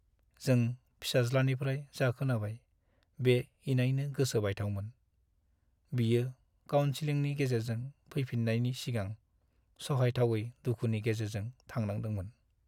जों फिसाज्लानिफ्राय जा खोनाबाय बे इनायनो गोसो बायथावमोन। बियो काउनसेलिंनि गेजेरजों फैफिन्नायनि सिगां सहायथावै दुखुनि गेजेरजों थांनांदोंमोन।